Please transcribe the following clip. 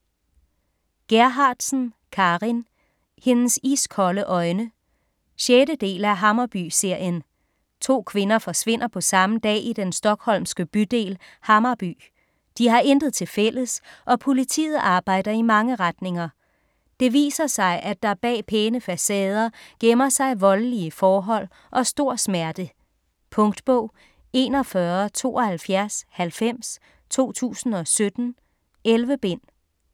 Gerhardsen, Carin: Hendes iskolde øjne 6. del af Hammarby-serien. To kvinder forsvinder på samme dag i den stockholmske bydel Hammarby. De har intet tilfælles, og politiet arbejder i mange retninger. Det viser sig, at der bag pæne facader gemmer sig voldelige forhold og stor smerte. Punktbog 417290 2017. 11 bind.